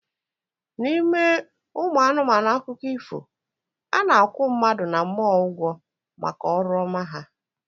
N'ime ụmụ anụmanụ akụkọ ifo, a na-akwụ mmadụ na mmụọ ụgwọ maka ọrụ ọma ha